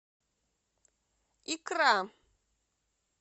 икра